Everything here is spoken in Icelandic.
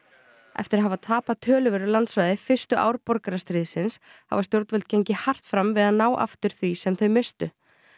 eftir að hafa tapað töluverðu landsvæði fyrstu ár borgarastríðsins hafa stjórnvöld gengið hart fram við að ná aftur því sem þau misstu